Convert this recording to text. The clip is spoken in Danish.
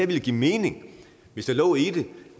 ville give mening hvis der lå i det